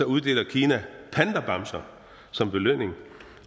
uddeler kina pandabamser som belønning